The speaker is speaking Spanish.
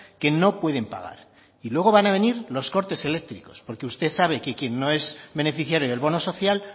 que no pueden pagar y luego van a venir los cortes eléctricos porque usted sabe que quien no es beneficiario del bono social